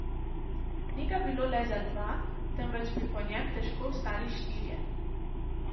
Ni ga bilo le za dva, temveč bi po njem težko vstali štirje.